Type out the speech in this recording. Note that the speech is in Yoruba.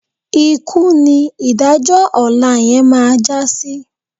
Ikú ni ìdájọ́ ọ̀la yẹn máa já sí.